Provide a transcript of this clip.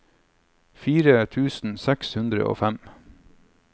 fire tusen seks hundre og fem